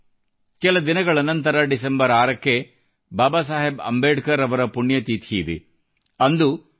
ಸ್ನೇಹಿತರೆ ಕೆಲ ದಿನಗಳ ನಂತರ ಡಿಸೆಂಬರ್ 6 ಕ್ಕೆ ಬಾಬಾ ಸಾಹೇಬ್ ಅಂಬೇಡ್ಕರ್ ಅವರ ಪುಣ್ಯತಿಥಿಯಿದೆ